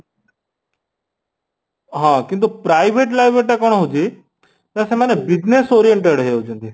ହଁ , କିନ୍ତୁ private library ଟା କ'ଣ ହଉଚି ନା ସେମାନେ business oriented ହେଇ ଯାଉଛନ୍ତି